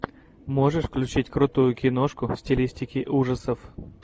можешь включить крутую киношку в стилистике ужасов